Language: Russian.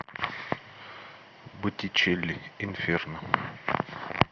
боттичелли инферно